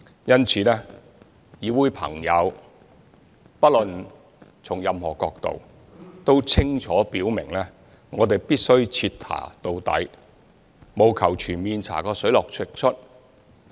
因此，議會朋友不論從任何角度都清楚表明我們必須徹查到底，務求全面查個水落石出。